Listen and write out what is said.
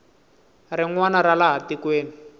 rin wana ra laha tikweni